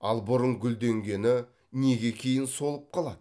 ал бұрын гүлденгені неге кейін солып қалады